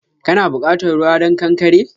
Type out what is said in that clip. Kana bukatan ruwa don ƙanƙare?